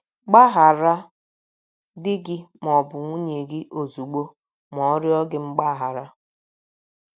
Gbaghara di gị ma ọ bụ nwunye gị ozugbo ma ọ rịọ gị mgbaghara.